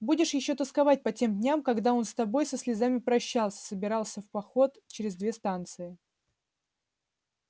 будешь ещё тосковать по тем дням когда он с тобой со слезами прощался собирался в поход через две станции